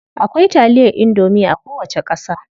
Akwai taliyar indomie a kowace ƙasa.